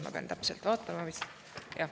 Ma pean täpsemalt vaatama …